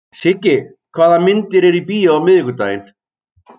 Siggi, hvaða myndir eru í bíó á miðvikudaginn?